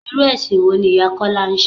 Irú ẹ̀sìn wo ni ìyá Kúnlẹ́ ń ṣe?